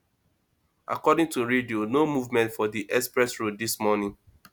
according to radio no movement for di express road this morning